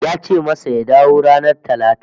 Ya ce masa ya dawo ranar Talata